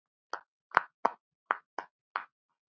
Garðar Hólm.